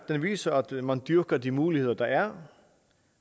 viser at man dyrker de muligheder der er